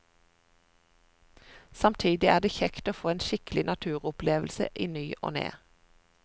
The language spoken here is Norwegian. Samtidig er det kjekt å få en skikkelig naturopplevelse i ny og ne.